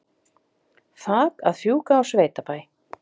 Þak að fjúka á sveitabæ